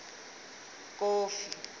kofi